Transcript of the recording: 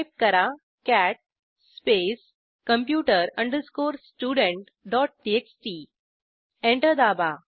type करा cat space computer studenttxt enter दाबा